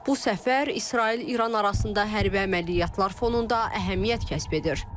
Bu səfər İsrail-İran arasında hərbi əməliyyatlar fonunda əhəmiyyət kəsb edir.